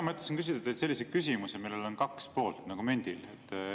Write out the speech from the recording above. Mina mõtlesin küsida teilt sellise küsimuse, millel on kaks poolt nagu mündil.